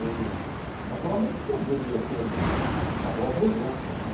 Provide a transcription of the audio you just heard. Eu... naturalmente que eu deveria ter uma boa presença, né?